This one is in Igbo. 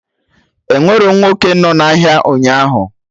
Enwerọ nwoke nọ na ahịa ụnyaahụ